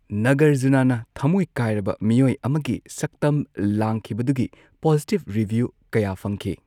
ꯅꯥꯒꯔꯖꯨꯅꯥꯅ ꯊꯝꯃꯣꯢ ꯀꯥꯢꯔꯕ ꯃꯤꯑꯣꯏ ꯑꯃꯒꯤ ꯁꯛꯇꯝ ꯂꯥꯡꯈꯤꯕꯗꯨꯒꯤ ꯄꯣꯖꯤꯇꯤꯚ ꯔꯤꯚ꯭ꯌꯨ ꯀꯌꯥ ꯐꯪꯈꯤ꯫